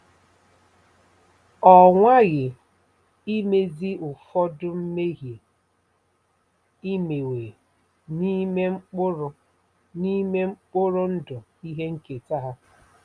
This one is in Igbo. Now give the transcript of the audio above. Ọ nwaghị imezi ụfọdụ 'mmehie imewe' n'ime mkpụrụ n'ime mkpụrụ ndụ ihe nketa ha.